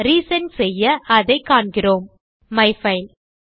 re sent செய்ய அதை காண்கிறோம் மைஃபைல்